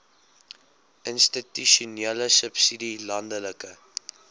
institusionele subsidie landelike